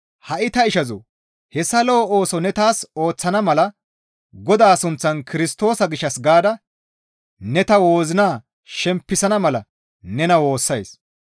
Hi7a ta ishazoo! Hessa lo7o ooso ne taas ooththana mala Godaa sunththan Kirstoosa gishshas gaada ne ta wozina shempisana mala ta nena woossays.